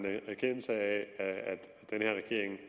en erkendelse af at den her regering